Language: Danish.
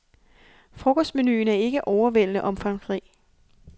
Frokostmenuen er ikke overvældende omfangsrig.